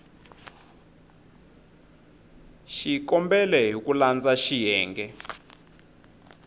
xikombelo hi ku landza xiyenge